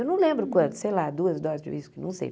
Eu não lembro quanto, sei lá, duas doses de uísque, não sei.